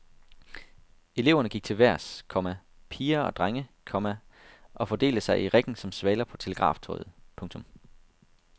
Eleverne gik til vejrs, komma piger og drenge, komma og fordelte sig i riggen som svaler på telegraftråde. punktum